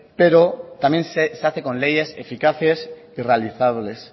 pero también se hacen con leyes eficaces y realizables